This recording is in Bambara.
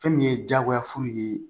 Fɛn min ye diyagoya fu ye